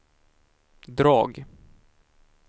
drag